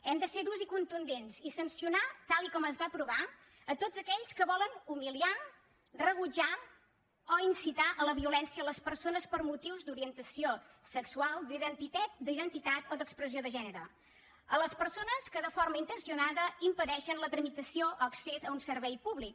hem de ser durs i contundents i sancionar tal com es va aprovar a tots aquells que volen humiliar rebutjar o incitar a la violència a les persones per motius d’orientació sexual d’identitat o d’expressió de gènere a les persones que de forma intencionada impedeixen la tramitació o accés a un servei públic